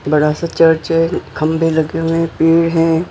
बड़ा सा चर्च है खंभे लगे हुए हैं पेड़ हैं।